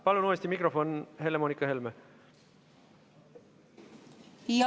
Palun uuesti mikrofon Helle-Moonika Helmele!